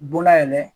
Bonda yɛlɛ